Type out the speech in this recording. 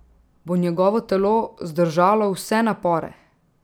Bo njegovo telo zdržalo vse napore?